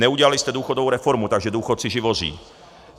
Neudělali jste důchodovou reformu, takže důchodci živoří.